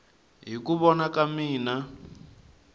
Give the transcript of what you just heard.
hi ku vona ka mina